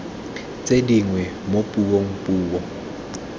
tse dingwe mo puong puo